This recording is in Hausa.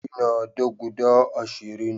ina da guda ashirin